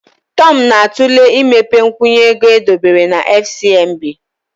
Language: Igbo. Tom na-atụle imepe nkwụnye ego edobere na FCMB.